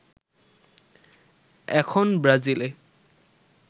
এখন ব্রাজিলে